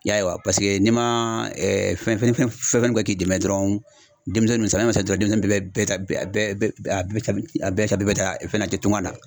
I y'a ye wa paseke n'i ma fɛn fɛn k'i dɛmɛ dɔrɔn denmisɛnnin, samiya mana se dɔrɔnw , denmisɛnniw bɛ bɛɛ ta fana tunga na